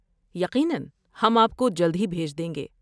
یقیناً، ہم آپ کو جلد ہی بھیج دیں گے۔